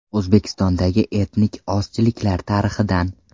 O‘zbekistondagi etnik ozchiliklar tarixidan.